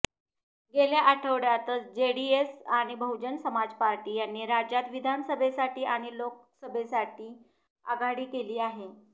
गेल्या आठवड्यातच जेडीएस आणि बहुजन समाज पार्टी यांनी राज्यात विधानसभेसाठी आणि लोकसभेसाठी आघाडी केली आहे